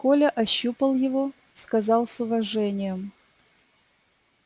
коля ощупал его сказал с уважением